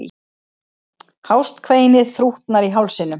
Hást kveinið þrútnar í hálsinum.